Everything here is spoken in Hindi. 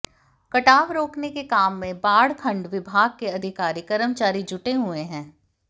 कटाव रोकने के काम में बाढ़ खंड विभाग के अधिकारी कर्मचारी जुटे हुए हैं